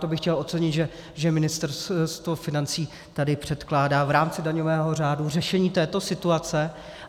To bych chtěl ocenit, že Ministerstvo financí tady předkládá v rámci daňového řádu řešení této situace.